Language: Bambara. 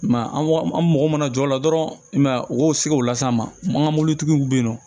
I ma ye an mago mana jɔ o la dɔrɔn i ma ye u k'o se k'o las'an ma an ka mɔbilitigiw be yen nɔ